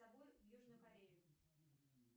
с собой в южную корею